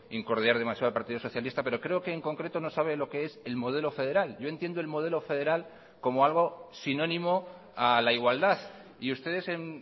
incordiar demasiado al partido socialista pero creo que en concreto no sabe lo que es el modelo federal yo entiendo el modelo federal como algo sinónimo a la igualdad y ustedes en